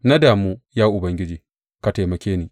Na damu; Ya Ubangiji, ka taimake ni!